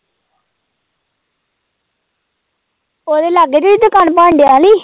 ਉਹਦੇ ਲਾਗੇ ਜਿਹੇ ਹੀ ਦੁਕਾਨ ਬਣਡਿਆ ਨੀ